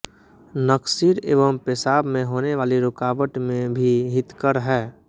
नकसीर एवं पेशाब में होने वाली रुकावट में भी हितकर है